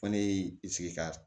Fɔ ne y'i sigi ka